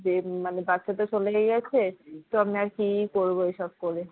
তো যে মানে বাছা তা তো চলেই গিয়েছে তো আমি আর কি করবে এসব করে?